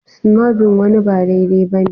Snubbing wani ba daidai ba ne.